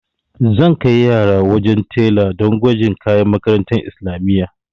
Zan kai yaran wajen tela do gwajin kayan makarantar islamiyya.